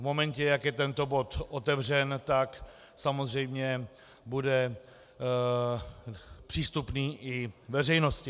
V momentě, jak je tento bod otevřen, tak samozřejmě bude přístupný i veřejnosti.